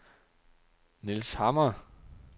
Nils Hammer